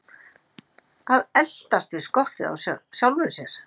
Að eltast við skottið á sjálfum sér